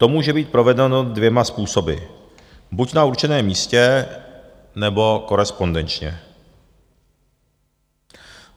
To může být provedeno dvěma způsoby: buď na určeném místě, nebo korespondenčně.